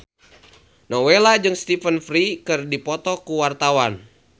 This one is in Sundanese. Nowela jeung Stephen Fry keur dipoto ku wartawan